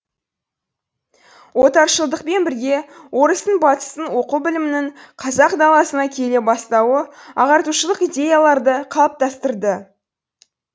отаршылдықпен бірге орыстың батыстың оқу білімінің қазақ даласына келе бастауы ағартушылық идеяларды қалыптастырды